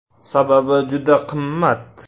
Sababi, juda qimmat.